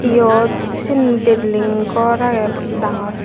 iyot sen building gor agey dangor.